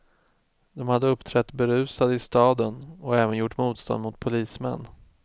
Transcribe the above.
De hade uppträtt berusade i staden och även gjort motstånd mot polismän.